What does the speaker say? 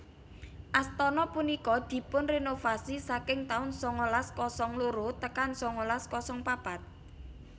Astana punika dipunrenovasi saking taun sangalas kosong loro tekan sangalas kosong papat